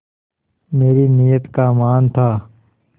मेरी नीयत का मान था